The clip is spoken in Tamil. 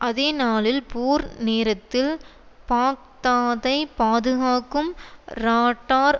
அதேநாளில் போர் நேரத்தில் பாக்தாதைப் பாதுகாக்கும் ராட்டார்